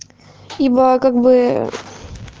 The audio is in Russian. ибоо как быы